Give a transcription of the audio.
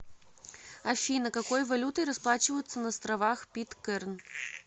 афина какой валютой расплачиваются на островах питкэрн